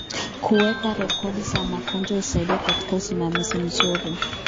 Kuweka rekodi za magonjwa husaidia katika usimamizi mzuri.